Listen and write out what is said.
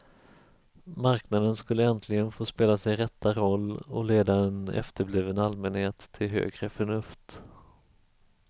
Marknaden skulle äntligen få spela sin rätta roll och leda en efterbliven allmänhet till högre förnuft.